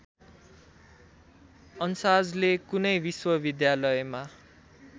अन्साजले कुनै विश्वविद्यालयमा